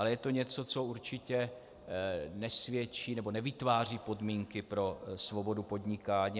Ale je to něco, co určitě nesvědčí nebo nevytváří podmínky pro svobodu podnikání.